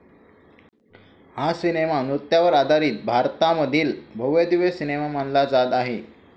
हा सिनेमा नृत्यावर आधारीत भारतामधील भव्यदिव्य सिनेमा मानला जात आहे.